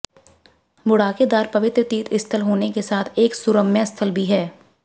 बूढ़ाकेदार पवित्र तीर्थस्थल होने के साथ साथ एक सुरम्य स्थल भी है